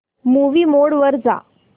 movie mode वर जा